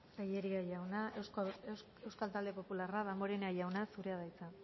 tellería jauna euskal talde popularra damborenea jauna zurea da hitza